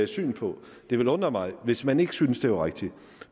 syn på det ville undre mig hvis man ikke syntes at det var rigtigt